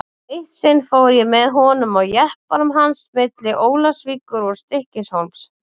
Eitt sinn fór ég með honum á jeppanum hans milli Ólafsvíkur og Stykkishólms.